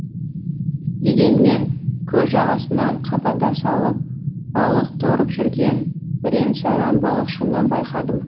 дегенмен көл жағасынан қабада салып балық торып жүрген бірен саран балықшыны байқадым